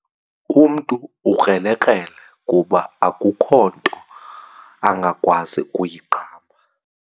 Umntu ukrelekrele kuba akukho nto angakwazi kuyiqamba.